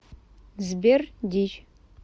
сбер дичь